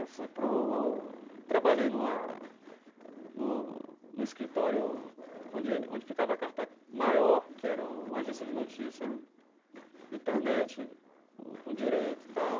Eu fui para o trabalhei numa no no escritório onde onde ficava a Carta Maior, que era uma agência de notícia né, internet, com com direito e tal.